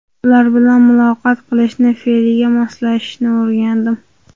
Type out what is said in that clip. Ular bilan muloqot qilishni, fe’liga moslashishni o‘rgandim.